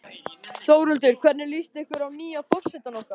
Þórhildur: Hvernig líst ykkur að nýja forsetann okkar?